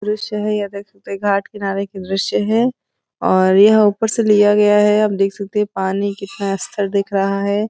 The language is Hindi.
दृश्य है। यह देख सकते है घाट किनारे का दृश्य है और यह ऊपर से लिया गया है। आप देख सकते हैं पानी कितना स्थिर दिख रहा है।